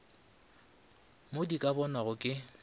mo di ka bonwago ke